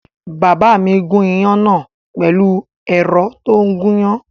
Bàbá mi gún iyán náà pẹ̀lú ẹ̀rọ tó ń gúyán